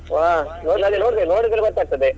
ವಾಹ್ ಒಂದ್ ಸಲಿ ನೋಡ್ಬೇಕ್ ನೋಡಿದ್ರೆ ಗೊತ್ತಾಗ್ತದೆ.